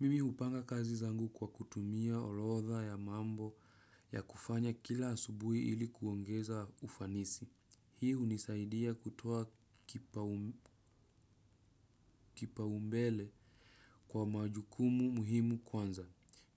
Mimi hupanga kazi zangu kwa kutumia orodha ya mambo ya kufanya kila asubuhi ili kuongeza ufanisi. Hii hunisaidia kutoa kipa umbele kwa majukumu muhimu kwanza.